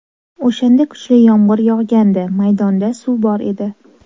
O‘shanda kuchli yomg‘ir yog‘gandi, maydonda suv bor edi.